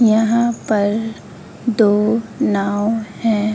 यहाँ पर दो नाव हैं।